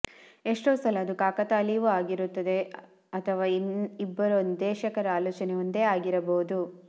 ಎಷ್ಟೋ ಸಲ ಅದು ಕಾಕತಾಳೀಯವೂ ಆಗಿರುತ್ತೆ ಅಥವಾ ಇಬ್ಬರು ನಿರ್ದೇಶಕರ ಆಲೋಚನೆ ಒಂದೇ ಆಗಿರಬಹುದು